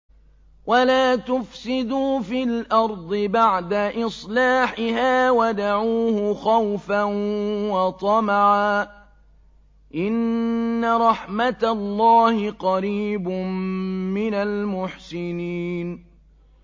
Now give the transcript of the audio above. وَلَا تُفْسِدُوا فِي الْأَرْضِ بَعْدَ إِصْلَاحِهَا وَادْعُوهُ خَوْفًا وَطَمَعًا ۚ إِنَّ رَحْمَتَ اللَّهِ قَرِيبٌ مِّنَ الْمُحْسِنِينَ